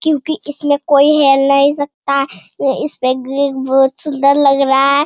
क्योंकि इसमें कोई हेर नहीं सकता इस पर बहुत सुंदर लग रहा है।